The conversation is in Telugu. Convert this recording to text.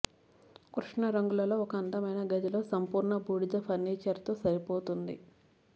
కృష్ణ రంగులలో ఒక అందమైన గదిలో సంపూర్ణ బూడిద ఫర్నిచర్తో సరిపోతుంది